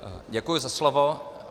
Děkuji za slovo.